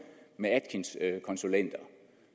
med atkins konsulenter